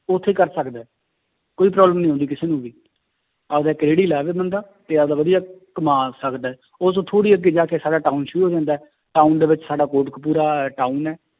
ਉੱਥੇ ਕਰ ਸਕਦਾ ਹੈ, ਕੋਈ problem ਨੀ ਆਉਂਦੀ ਕਿਸੇ ਨੂੰ ਵੀ ਆਪਦਾ ਇੱਕ ਰੇੜੀ ਲਾਵੇ ਬੰਦਾ ਤੇ ਆਪਦਾ ਵਧੀਆ ਕਮਾ ਸਕਦਾ ਹੈ ਉਹ ਤੋਂ ਥੋੜ੍ਹੀ ਅੱਗੇ ਜਾ ਕੇ ਸਾਡਾ town ਸ਼ੁਰੂ ਹੋ ਜਾਂਦਾ ਹੈ town ਦੇ ਵਿੱਚ ਸਾਡਾ ਕੋਟਕਪੁਰਾ town ਹੈ